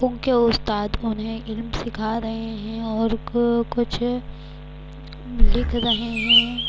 انکے استاد انھ علم سکھ رہی ہیں، اور کچھ لکھ رہی ہیں-